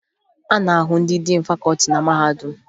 A na-ahụ ndị diin fakọọti na mahadum